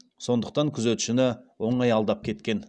сондықтан күзетшіні оңай алдап кеткен